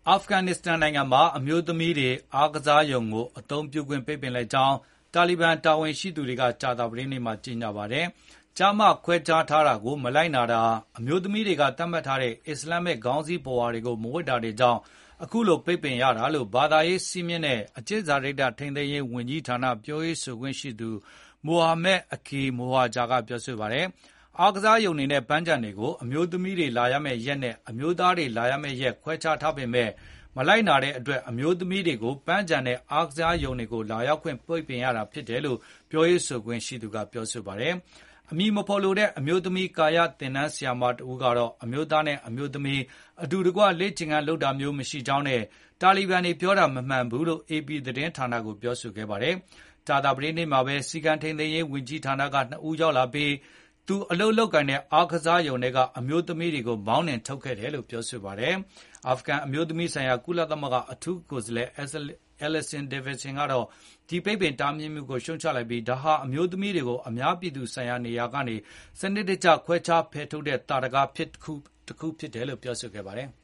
အာဖဂန်နစ္စတန်နိုင်ငံမှာ အမျိုးသမီးတွေ အားကစားရုံတွေကို အသုံးပြုခွင့်ပိတ်ပင်လိုက်ကြောင်း တာလီဘန်တာ ဝန်ရှိ သူတွေကကြာသပတေးနေ့မှာကြေငြာပါတယ်။ ကျားမခွဲခြားထားတာကို မလိုက်နာတာ၊ အမျိုးသမီးတွေက သတ်မှတ်ထားတဲ့ အစ္စလမ်ခေါင်းစည်းပုဝါတွေကို မဝတ်တာတွေကြောင့် အခုလို ပိတ်ပင်ရတာလို့ ဘာသာရေးစည်းမျဉ်းနဲ့ အကျင့်စာရိတ္တထိန်းသိမ်းရေးဝန်ကြီးဌာနပြောရေးဆိုခွင့်ရှိသူ Mohammed Akef Mohajer ကပြောဆိုပါတယ်။ အားကစားရုံတွေနဲ့ပန်းခြံတွေကို အမျိုးသမီးတွေလာရမယ့်ရက်နဲ့အမျိုးသားတွေလာရမယ့်ရက်ခွဲခြားထားပေမယ့် မလိုက် နာတဲ့အတွက်၊ အမျိုးသမီးတွေကို ပန်းခြံတွေနဲ့ အားကစားရုံတွေကိုလာရောက်ခွင့်ပိတ်ပင်ရတာဖြစ်တယ်လို့ပြောရေး ဆိုခွင့်ရှိသူကပြောဆိုပါတယ်။ အမည်မဖေါ်လိုတဲ့ အမျိုးသမီးကာယ သင်တန်းဆရာမတဦးကတော့ အမျိုးသားနဲ့အမျိုးသမီး အတူတကွလေ့ကျင့် ခန်းလုပ်တာမျိုးမရှိဘူးကြောင်းနဲ့ တာလီဘန်တွေပြောတာမမှန်ကန်ဘူးလို့APသတင်းဌာနကိုပြောဆိုပါတယ်။ ကြာသပတေးနေ့မှာဘဲ စည်းကမ်းထိန်းသိမ်းရေးဝန်ကြီးဌာနက နှစ်ဦးရောက်လာပြီး သူအလုပ်လုပ်ကိုင်တဲ့ အားကစားရုံ ထဲကအမျိုးသမီး တွေကိုမောင်းနှင်ထုတ်ခဲ့တယ်လို့လည်း ပြောပါတယ်။ အာဖဂန်အမျိုးသမီးများဆိုင်ရာ ကုလသမဂ္ဂအထူးကိုယ်စားလှယ် Alison Davidian ကတော့ ဒီပိတ်ပင်တားမြစ်မှုကို ပြစ်တင်ရှုံချလိုက်ပြီး၊ ဒါဟာအမျိုးသမီးတွေကို အများပြည်သူဆိုင်ရာနေရာတွေကနေ စနစ်တကျခွဲခြားဖယ်ထုတ်တဲ့ ထင်ရှားတဲ့သာဓကတခုဖြစ်တယ်လို့ပြောဆိုပါတယ်။